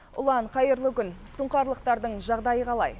ұлан қайырлы күн сұңқарлықтардың жағдайы қалай